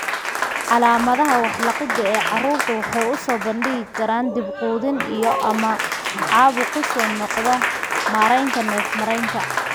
Calaamadaha wax liqidda ee carruurta waxay u soo bandhigi karaan dhib quudin iyo/ama caabuq ku soo noqnoqda mareenka neef-mareenka.